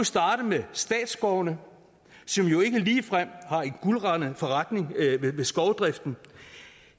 starte med statsskovene som jo ikke ligefrem har en guldrandet forretning i skovdriften